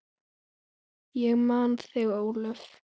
Ég man þig, Ólöf.